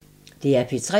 DR P3